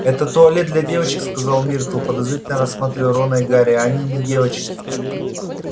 это туалет для девочек сказала миртл подозрительно рассматривая рона и гарри а они не девочки